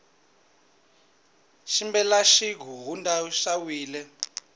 xibelana xi hundzeriwile